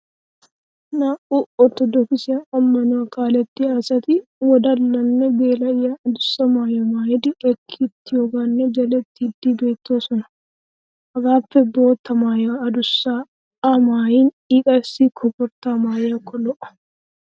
Naa'u orttodookise ammanuwa kalliyaa asti wodallanne geela'iya adussa maayuwa maayidi ekkittiyoogaanne gelettiddi beettoosona. hagappe bootta maayuwa adussaa a maayin i qassi koforttaa maayiyaakko lo'o.